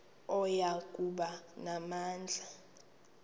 oya kuba namandla